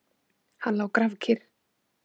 Hann lá grafkyrr.